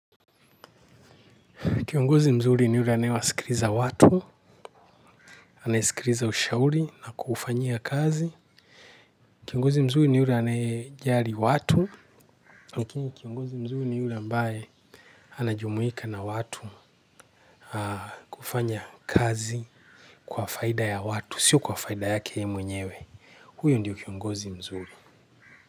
Kiongozi mzuri ni yule anaywasikiliza watu, anayesikiliza ushauri na kuufanyia kazi. Kiongozi mzuri ni yule anayejali watu. Lakini kiongozi mzuri ni yule ambaye anajumuika na watu kufanya kazi kwa faida ya watu. Sio kwa faida yake yeye mwenyewe huyo ndio kiongozi mzuri.